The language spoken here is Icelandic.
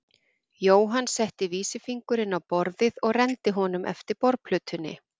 Jóhann setti vísifingurinn á borðið og renndi honum eftir borðplötunni.